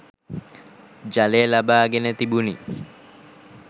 ජලය ලබාගෙන තිබුණි.